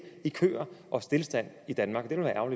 i køer og stilstand i danmark